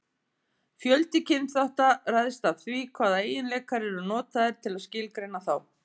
fjöldi kynþátta ræðst af því hvaða eiginleikar eru notaðir til að skilgreina þá